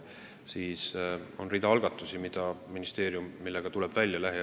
On rida algatusi, millega ministeerium lähiajal välja tuleb.